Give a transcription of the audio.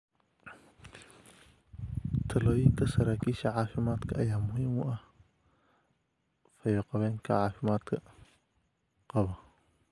Talooyinka saraakiisha caafimaadka ayaa muhiim u ah fayoqabkeena caafimaadka qaba